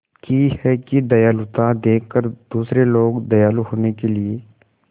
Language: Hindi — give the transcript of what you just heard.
की है कि दयालुता देखकर दूसरे लोग दयालु होने के लिए